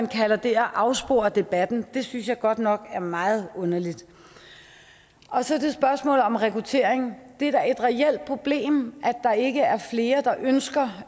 kalder det at afspore debatten synes jeg godt nok er meget underligt så til spørgsmålet om rekruttering det er da et reelt problem at der ikke er flere der ønsker